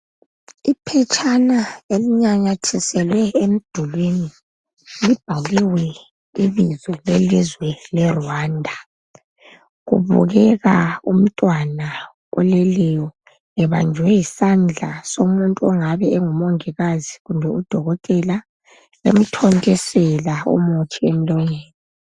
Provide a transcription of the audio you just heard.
Iphetshana elinanyathiselwe emdulwini libhaliwe ibizo lelizwe le Rwanda Kubukeka umntwana oleleyo ebanjwe yisandla somuntu ongabe engumongikazi kumbe udokotela emthontisela umuthi emlonyeni